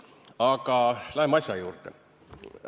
Aga läheme asja juurde.